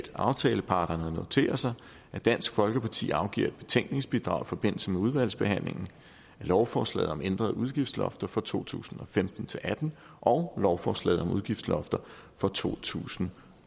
aftaleparterne noterer sig at dansk folkeparti afgiver et betænkningsbidrag i forbindelse med udvalgsbehandlingen af lovforslag om ændrede udgiftslofter for to tusind og femten til atten og lovforslaget om udgiftslofter for to tusind